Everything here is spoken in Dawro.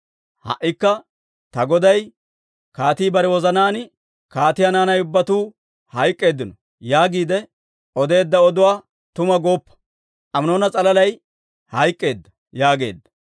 Ha"ikka ta goday kaatii bare wozanaan, ‹Kaatiyaa naanay ubbatuu hayk'k'eedino› yaagiide odeedda oduwaa tuma gooppo; Aminoona s'alalay hayk'k'eedda» yaageedda.